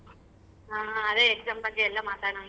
ಹ ಅದೇ exam ಬಗ್ಗೆ ಎಲ್ಲ ಮಾತಾಡಣ.